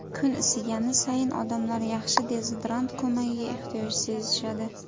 Kun isigani sayin odamlar yaxshi dezodorant ko‘magiga ehtiyoj sezishadi.